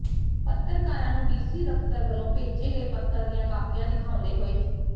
ਪੱਤਰਕਾਰਾਂ ਨੂੰ D C ਦਫਤਰ ਵਲੋਂ ਭੇਜੇ ਗਏ ਪੱਤਰ ਦੀਆਂ ਕਾਪੀਆਂ ਦਿਖਾਉਂਦੇ ਹੋਏ ਸ੍ਰ